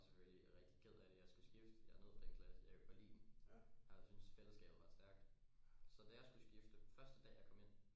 Jeg var selvfølgelig rigtig ked af det jeg skulle skifte jeg nød den klasse jeg kunne godt lide den jeg synes fællesskabet var stærkt så da jeg skulle skifte første dag jeg kom ind